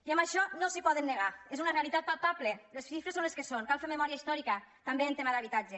i a això no s’hi poden negar és una realitat palpable les xifres són les que són cal fer memòria històrica també en tema d’habitatge